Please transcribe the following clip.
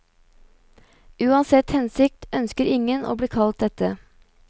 Uansett hensikt ønsker ingen å bli kalt dette.